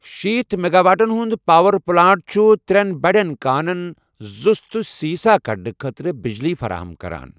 شیٖتھ میگاواٹن ہُند پاوَر پٕلانٛٹ چُھ ترٛٮ۪ن بَڈٮ۪ن کانَن زسُت تہٕ سیٖسہٕ کَڑنہٕ خٲطرٕ بِجلی فراہم كران ۔